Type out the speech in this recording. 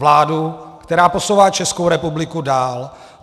Vládu, která posouvá Českou republiku dál.